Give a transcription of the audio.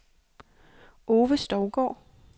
Ove Stougaard